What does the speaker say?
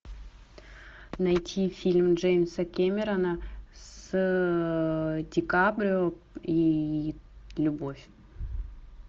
найти фильм джеймса кэмерона с ди каприо и любовь